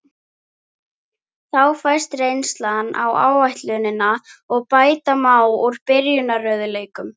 Þá fæst reynsla á áætlunina og bæta má úr byrjunarörðugleikum.